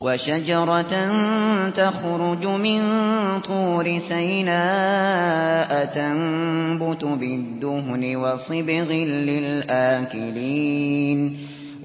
وَشَجَرَةً تَخْرُجُ مِن طُورِ سَيْنَاءَ تَنبُتُ بِالدُّهْنِ وَصِبْغٍ لِّلْآكِلِينَ